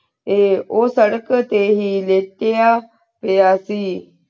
ਆਯ ਊ ਸਾਦਕ ਤੇ ਨੀ ਵਿਚ੍ਯਾ ਤੇ ਅਸੀਂ